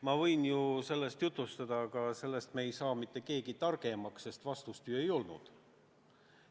Ma võin ju sellest rääkida, aga sellest ei saa mitte keegi targemaks, sest vastust ju ei olnud.